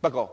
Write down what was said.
不過，